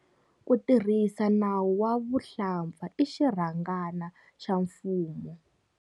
Ku tirhisa nawu wa vuhlampfa i xirhangana xa mfumo.